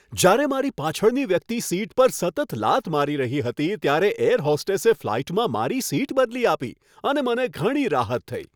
જ્યારે મારી પાછળની વ્યક્તિ સીટ પર સતત લાત મારી રહી હતી ત્યારે એર હોસ્ટેસે ફ્લાઇટમાં મારી સીટ બદલી આપી અને મને ઘણી રાહત થઈ.